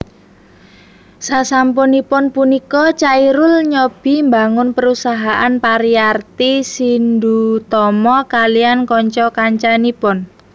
Sasampunipun punika Chairul nyobi mbangun perusahaan Pariarti Shindutama kaliyan kanca kancanipun